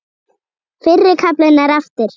Fyrri kaflinn er eftir